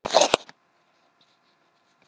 Og enn ríkti sama umsáturs- ástandið um Tangann.